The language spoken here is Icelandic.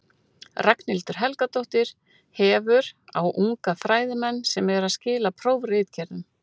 Ragnhildur Helgadóttir hefur, á unga fræðimenn sem eru að skila prófritgerðum.